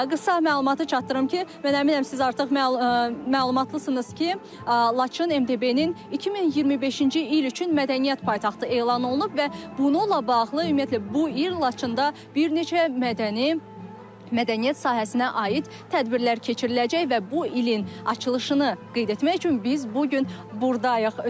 Qısa məlumatı çatdırım ki, mən əminəm siz artıq məlumatlısınız ki, Laçın MDB-nin 2025-ci il üçün mədəniyyət paytaxtı elan olunub və bununla bağlı ümumiyyətlə bu il Laçında bir neçə mədəni mədəniyyət sahəsinə aid tədbirlər keçiriləcək və bu ilin açılışını qeyd etmək üçün biz bu gün burdayıq.